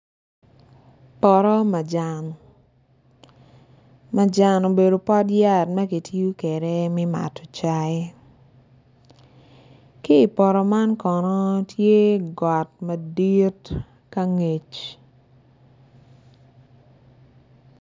Poto majan, majan obedo pot yat magitiyo kwede me mato cai kipoto man kono tye got madit kangec.